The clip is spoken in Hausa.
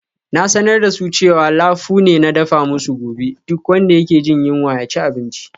Na sanar da su cewa lafu ne na dafa musu gobe, duk wanda yake jin yunwa ya ci abinci.